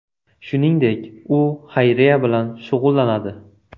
Shuningdek, u xayriya bilan shug‘ullanadi.